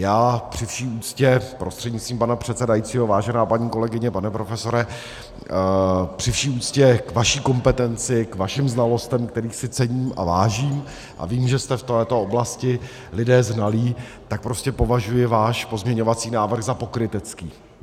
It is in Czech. Já při vší úctě, prostřednictvím pana předsedajícího vážená paní kolegyně, pane profesore, při vší úctě k vaší kompetenci, k vašim znalostem, kterých si cením a vážím, a vím, že jste v této oblasti lidé znalí, tak prostě považuji váš pozměňovací návrh za pokrytecký.